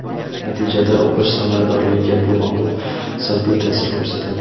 Natijada o‘qish samaradorligiga bu omil salbiy ta’sir ko‘rsatadi.